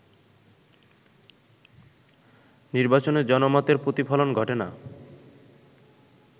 নির্বাচনে জনমতের প্রতিফলন ঘটে না